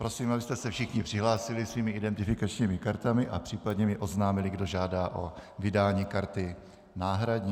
Prosím, abyste se všichni přihlásili svými identifikačními kartami a případně mi oznámili, kdo žádá o vydání karty náhradní.